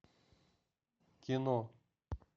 кино